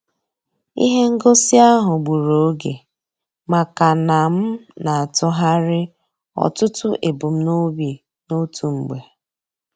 Ihe ngosi ahụ gburu oge maka na m na-atụgharị ọtụtụ ebumnobi n'otu mgbe.